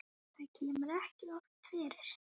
Þetta kemur ekki oftar fyrir.